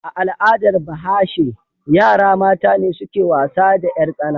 A al'adar Bahashe, yara mata ne suke wasa da 'yartsana.